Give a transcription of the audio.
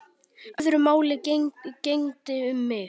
Öðru máli gegndi um mig.